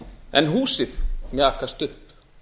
en húsið mjakast upp